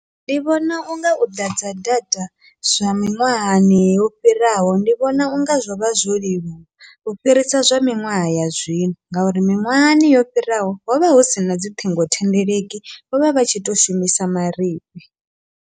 Ndi vhona unga u ḓadza data zwa miṅwahani yo fhiraho ndi vhona unga zwovha zwo leluwa, u fhirisa zwa miṅwaha ya zwino ngauri miṅwahani yo fhiraho hovha husina dzi ṱhingothendeleki vhovha vha tshi to shumisa marifhi.